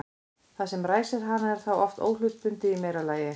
það sem ræsir hana er þá oft óhlutbundið í meira lagi